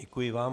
Děkuji vám.